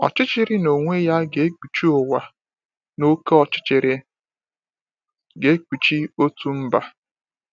Ọchịchịrị n’onwe ya ga-ekpuchi ụwa, na oke ọchịchịrị ga-ekpuchi òtù mba.